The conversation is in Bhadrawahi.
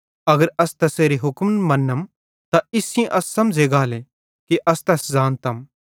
अगर अस तैसेरे हुक्मन मन्नम त इस सेइं अस समझ़े गाले कि अस तैस ज़ानतम